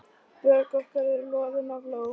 Bök okkar eru loðin af ló.